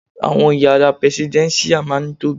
Àwọn yàrá prẹsidẹ́nṣíà má ń tobiy.